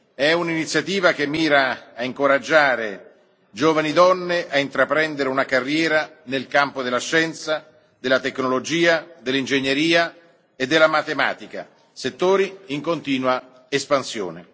È un'iniziativa che mira a incoraggiare giovani donne a intraprendere una carriera nel campo della scienza, della tecnologia, dell'ingegneria e della matematica, settori in continua espansione.